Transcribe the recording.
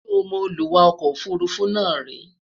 sọ mọ Olúwa ọkọ òfurufú náà ríi?